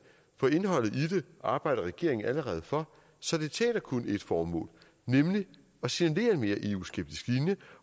for indholdet i det arbejder regeringen allerede for så det tjener kun et formål nemlig at signalere en mere eu skeptisk linje